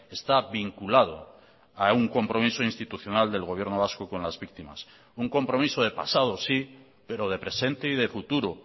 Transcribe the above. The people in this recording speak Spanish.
está vinculado a un compromiso institucional del gobierno vasco con las víctimas un compromiso de pasado sí pero de presente y de futuro